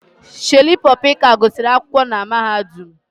Shalipopy ka gụsịrị akwụkwọ na mahadum